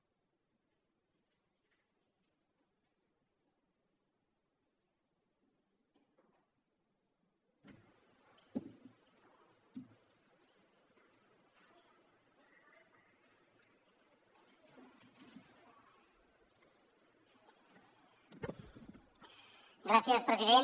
gràcies president